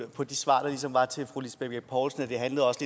på de svar der ligesom var til fru lisbeth bech poulsen at det også